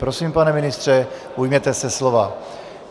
Prosím, pane ministře, ujměte se slova.